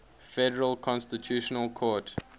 federal constitutional court